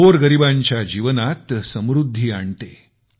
गोरगरीबांच्या जीवनात समृद्धी आणतो